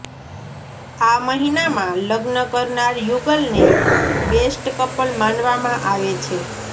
આ મહિનામાં લગ્ન કરનાર યુગલને બેસ્ટ કપલ માનવામાં આવે છે